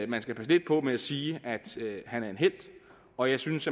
man skal passe lidt på med at sige at han er en helt og jeg synes